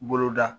Bolo da